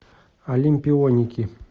олимпионики